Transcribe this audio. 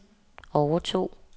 overtog